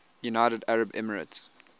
united arab emirates